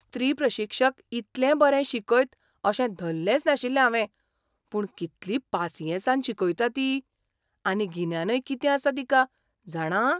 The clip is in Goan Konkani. स्त्री प्रशिक्षक इतलें बरें शिकयत अशें धल्लेंच नाशिल्लें हावें, पूण कितली पासियेंसान शिकयता ती. आनी गिन्यानय कितें आसा तिका, जाणा?